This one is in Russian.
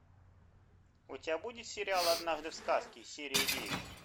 у тебя будет сериал однажды в сказке серия девять